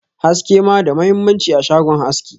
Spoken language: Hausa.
haske ma da mahimmanci a shagon haski.